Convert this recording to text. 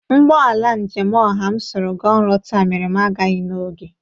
Ụgbọ ala njem ọha m soro ga ọrụ taa mere m agaghị n'oge.